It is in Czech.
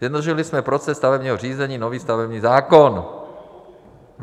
Zjednodušili jsme proces stavebního řízení, nový stavební zákon.